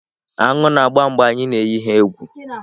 Aṅụ na-agba mgbe a na-eyi ha egwu.